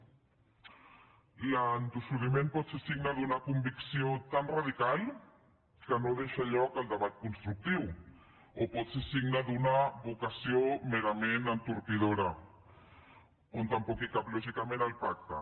l’entossudiment pot ser signe d’una convicció tan radical que no deixa lloc al debat constructiu o pot ser signe d’una vocació merament entorpidora on tampoc hi cap lògicament el pacte